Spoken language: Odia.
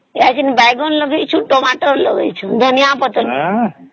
ବାଇଗଣ ଲଗେଇଛୁ tomato ଲଗେଇଛୁ ଧନିଆ ପତ୍ର ଲଗେଇଛୁ